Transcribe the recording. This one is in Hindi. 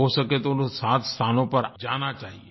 हो सके तो उन सात स्थानों पर जाना चाहिये